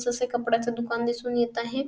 जसे कंपड्याच दुकान दिसून येत आहे.